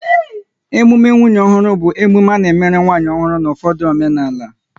Emume nwunye ọhụrụ bụ emume a na-emerụ nwanyị alụrụ ọhụrụ n' ụfọdụ omenala